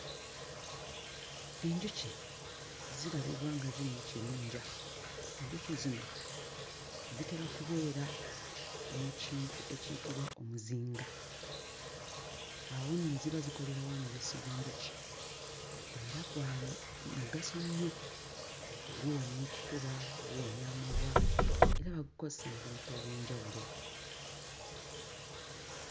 Enjuki zirabibwa nga ziri mu kibinja. Enjuki zino zitera kubeera mu kintu ekiyitibwa omuzinga. Awo nno ziba zikolerawo omubisi gw'enjuki era gwa mu mugaso nnyo; guwonya ekifuba, guwonya amabwa era bagukozesa mu bintu eby'enjawulo.